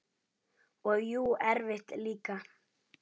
Og jú, erfitt líka.